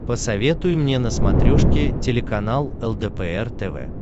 посоветуй мне на смотрешке телеканал лдпр тв